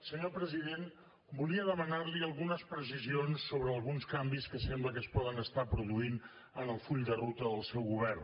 senyor president volia demanar li algunes precisions sobre alguns canvis que sembla que es poden estar produint en el full de ruta del seu govern